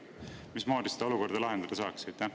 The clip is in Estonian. Või mismoodi seda olukorda lahendada saaks?